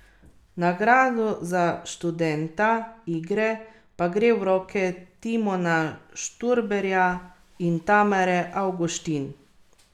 Dodal je, da je študija osnova gradiv, ki jih bodo nadzorniki skupaj z upravo obravnavali na prihodnji seji.